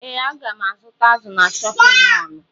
Ee, aga m azụta azụ na chọpịn mọọlụ.